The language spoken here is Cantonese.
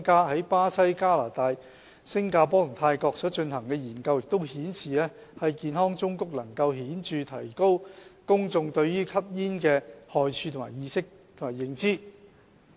在巴西、加拿大、新加坡及泰國所進行的研究均顯示，健康忠告能顯著地提高公眾對吸煙害處的意識及認知。